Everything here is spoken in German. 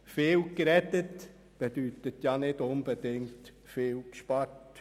Viel geredet bedeutet nicht unbedingt viel gespart.